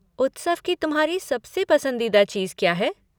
उत्सव की तुम्हारी सबसे पसंदीदा चीज़ क्या है?